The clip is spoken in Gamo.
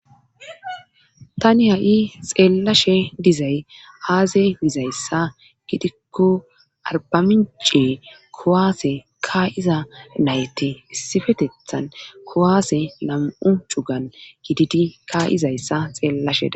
Tani ha7i xeellashe dizay aaze mizayssa gitikko arbamincee kowaase kaa7iza nayte issifetethan kowaase nam7u cugan gididi kaa7izayssa xeellashea.